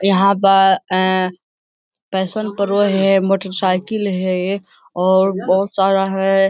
यहाँ पर अ पैशन प्रो है मोटरसाइकिल है और बहुत सारा है।